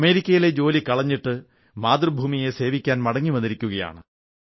അമേരിക്കയിലെ ജോലി കളഞ്ഞിട്ട് മാതൃഭൂമിയെ സേവിക്കാൻ മടങ്ങി വന്നിരിക്കയാണ്